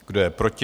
Kdo je proti?